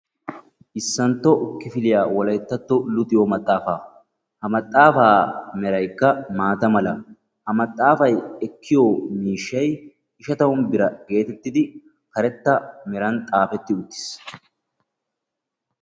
koyirro kifiliyaa wolayttatto luxxetta maaxxafa ha maxxafay meraykka maatta mala ha maxxafa gatekka ishatamu birra geetetidi karetta meraan xaafetiisi.